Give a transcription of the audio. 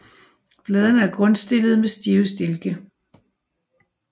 Bladene er grundstillede med stive stilke